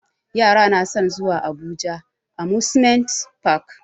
Yara na san zuwa abuja amusement park